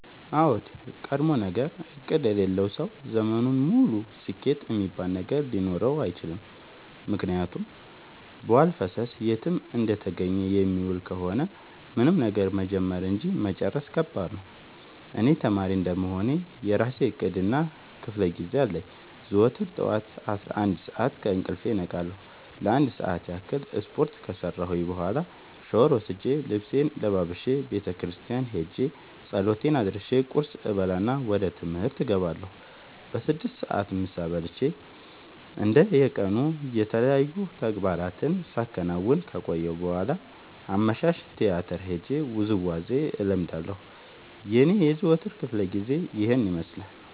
አዎድ ቀድሞነገር እቅድ የሌለው ሰው ዘመኑን ሙሉ ስኬት እሚባል ነገር ሊኖረው አይችልም። ምክንያቱም በዋልፈሰስ የትም እንደተገኘ የሚውል ከሆነ ምንም ነገር መጀመር እንጂ መጨረስ ከባድ ነው። እኔ ተማሪ እንደመሆኔ የእራሴ እቅድ እና ክፋለጊዜ አለኝ። ዘወትር ጠዋት አስራአንድ ሰዓት ከእንቅልፌ እነቃለሁ ለአንድ ሰዓት ያክል ስፓርት ከሰራሁኝ በኋላ ሻውር ወስጄ ልብሴን ለባብሼ ቤተክርስቲያን ኸጄ ፀሎት አድርሼ ቁርስ እበላና ወደ ትምህርት እገባለሁ። በስድስት ሰዓት ምሳ በልቼ እንደ የቀኑ የተለያዩ ተግባራትን ሳከናውን ከቆየሁ በኋላ አመሻሽ ቲያትር ሄጄ ውዝዋዜ እለምዳለሁ የኔ የዘወትር ክፍለጊዜ ይኸን ይመስላል።